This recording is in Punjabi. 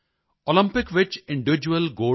ਓਲੰਪਿਕ ਵਿੱਚ ਇੰਡੀਵਿਡਿਊਅਲ Gold